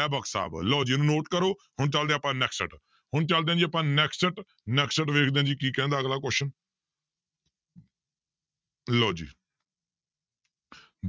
ਐਬਕ ਸਾਹਿਬ ਲਓ ਜੀ note ਕਰੋ ਹੁਣ ਚੱਲਦੇ ਹਾਂ ਆਪਾਂ next ਹੁਣ ਚੱਲਦੇ ਹਾਂ ਜੀ ਆਪਾਂ next ਦੇਖਦੇ ਹਾਂ ਜੀ ਅਗਲਾ question ਲਓ ਜੀ